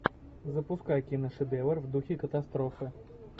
запускай киношедевр в духе катастрофы